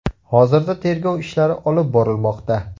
Hozirda tergov ishlari olib borilmoqda.